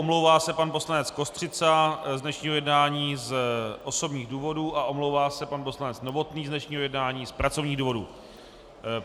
Omlouvá se pan poslanec Kostřica z dnešního jednání z osobních důvodů a omlouvá se pan poslanec Novotný z dnešního jednání z pracovních důvodů.